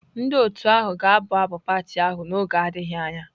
Ndị otu ahụ ga-abụ abụ pati ahụ n'oge adịghị anya.